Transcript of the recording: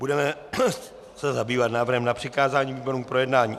Budeme se zabývat návrhem na přikázání výborům k projednání.